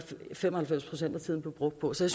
fem og halvfems procent af tiden blev brugt på så